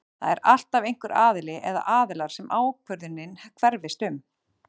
Það er alltaf einhver aðili eða aðilar sem ákvörðunin hverfist um.